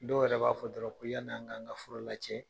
Dɔw yɛrɛ b'a fɔ dɔrɔn yanni an kan ka fura la cɛn